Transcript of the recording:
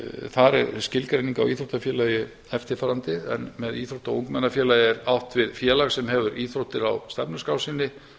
þar er skilgreining á íþróttafélagi eftirfarandi en með íþrótta og ungmennafélagi er átt við félag sem hefur íþróttir á stefnuskrá sinni